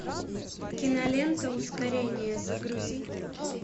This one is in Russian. кинолента ускорение загрузи